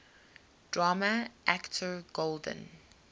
drama actor golden